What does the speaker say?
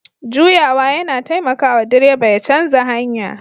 Juyawa yana taimaka wa direba ya canza hanya